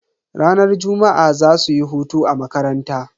Ranar juma'a zasuyi hutu a makaranta.